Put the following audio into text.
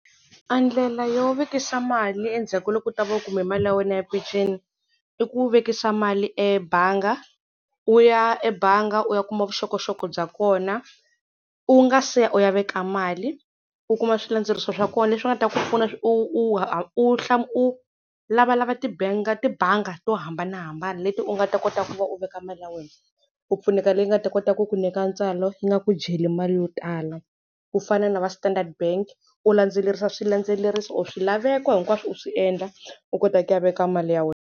A ndlela yo vekisa mali endzhaku ka loko u ta va u kume mali ya wena ya peceni i ku vekisa mali ebanga. U ya ebanga u ya kuma vuxokoxoko bya kona u nga se ya u ya veka mali u kuma swilandzendzeriso swa kona leswi nga ta ku pfuna u u u u lavalava tibanga to hambanahambana leti u nga ta kota ku va u veka mali ya wena u pfuneka leyi nga ta kota ku ku nyika ntswalo yi nga ku jeli mali yo tala ku fana na va Standard Bank u landzelerisa swilandzeleriso or swilaveko hinkwaswo u swi endla u kota ku ya veka mali ya wena.